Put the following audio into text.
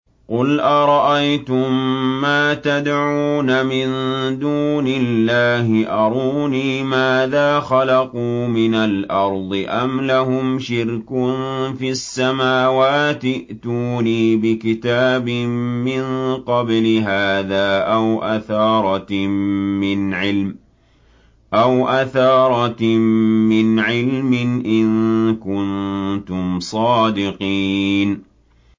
قُلْ أَرَأَيْتُم مَّا تَدْعُونَ مِن دُونِ اللَّهِ أَرُونِي مَاذَا خَلَقُوا مِنَ الْأَرْضِ أَمْ لَهُمْ شِرْكٌ فِي السَّمَاوَاتِ ۖ ائْتُونِي بِكِتَابٍ مِّن قَبْلِ هَٰذَا أَوْ أَثَارَةٍ مِّنْ عِلْمٍ إِن كُنتُمْ صَادِقِينَ